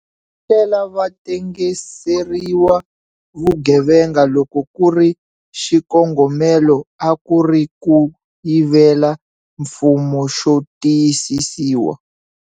Tlhela va tengiseriwa vugevenga loko ku ri xikongomelo a ku ri ku yivela mfumo xo tiyisisiwa.